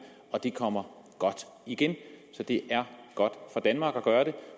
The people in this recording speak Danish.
og det kommer godt igen så det er godt for danmark at gøre det